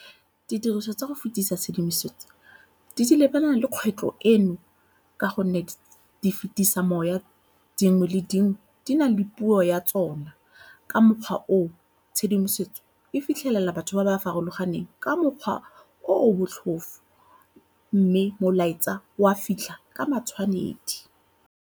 Didiriswa tsa go fetisa tshedimosetso di lebana le kgwetlho eno ka gonne di fetisa moya. Dingwe le dingwe di na le puo ya tsona, ka mokgwa oo tshedimosetso e fitlhelela batho ba ba farologaneng ka mokgwa o o botlhofo mme molaetsa o a fitlha ka matshwanedi.